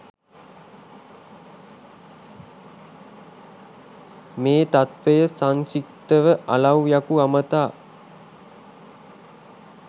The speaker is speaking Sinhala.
මේ තත්ත්වය සංක්ෂිප්තව අලව්යකු අමතා